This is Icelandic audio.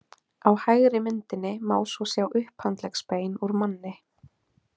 Á hægri myndinni má svo sjá upphandleggsbein úr manni.